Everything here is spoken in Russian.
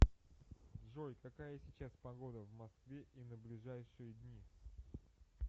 джой какая сейчас погода в москве и на ближайшие дни